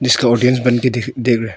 इसका ऑडियंस बनके देख देख रहा--